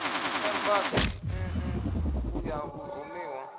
embasi nn u ya vhurumiwa